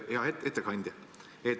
Hea ettekandja!